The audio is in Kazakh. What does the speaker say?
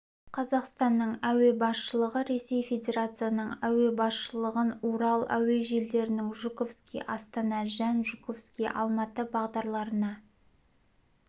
қазақстанның әуе басшылығы ресей федерациясының әуе басшылығын урал әуе желілерінің жуковский астана жән жуковский алматы бағдарларына